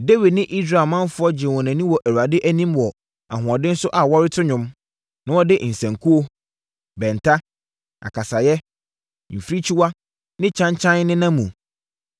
Dawid ne Israel manfoɔ gyee wɔn ani wɔ Awurade anim wɔ ahoɔden so a wɔreto nnwom, na wɔde nsankuo, bɛnta, akasaeɛ, mfirikyiwa ne kyankyan nenam mu.